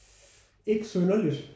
Ikke synderligt